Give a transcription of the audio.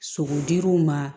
Sogodir'u ma